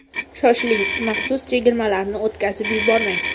Shoshiling, maxsus chegirmalarni o‘tkazib yubormang!